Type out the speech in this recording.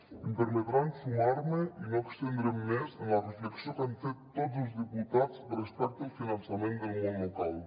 i em permetran sumar me i no estendre’m més en la reflexió que han fet tots els diputats respecte al finançament del món local